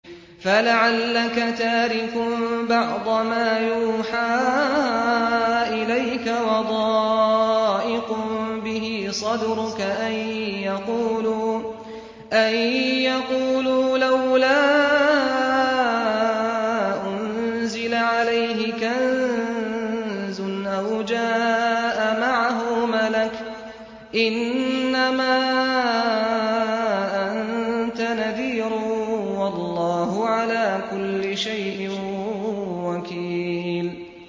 فَلَعَلَّكَ تَارِكٌ بَعْضَ مَا يُوحَىٰ إِلَيْكَ وَضَائِقٌ بِهِ صَدْرُكَ أَن يَقُولُوا لَوْلَا أُنزِلَ عَلَيْهِ كَنزٌ أَوْ جَاءَ مَعَهُ مَلَكٌ ۚ إِنَّمَا أَنتَ نَذِيرٌ ۚ وَاللَّهُ عَلَىٰ كُلِّ شَيْءٍ وَكِيلٌ